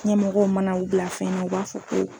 Ɲɛmɔgɔw mana u bila fɛn na u b'a fɔ ko